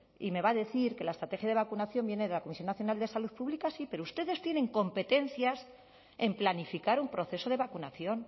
y me va a decir que la estrategia de vacunación viene de la comisión nacional de salud pública sí pero ustedes tienen competencias en planificar un proceso de vacunación